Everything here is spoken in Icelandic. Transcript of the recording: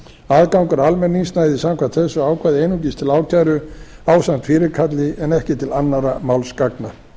aðgangur almennings næði samkvæmt þessu ákvæði einungis til ákæru ásamt fyrirkalli en ekki til annarra málsgagna af